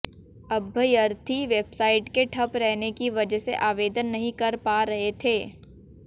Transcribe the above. अभ्यर्थी वेबसाइट के ठप रहने की वजह से आवेदन नहीं कर पा रहे थे